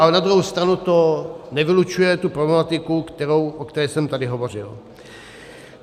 Ale na druhou stranu to nevylučuje tu problematiku, o které jsem tady hovořil.